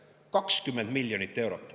Aga neil on 20 miljonit eurot.